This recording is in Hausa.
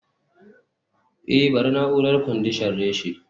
eh bari na'urar kwandishan reshe